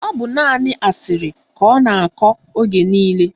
Ọ bụ naanị asịrị ka ọ na-akọ oge niile